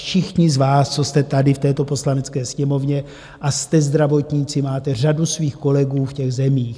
Všichni z vás, co jste tady v této Poslanecké sněmovně a jste zdravotníci, máte řadu svých kolegů v těch zemích.